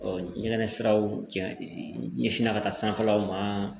ɲɛgɛn siraw jɛ ɲɛsinna ka taa sanfɛlaw ma